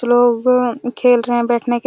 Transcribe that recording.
खेल रहे है बैठने के--